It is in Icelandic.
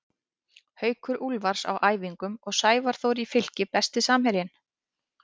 Haukur Úlfars á æfingum og Sævar Þór í Fylki Besti samherjinn?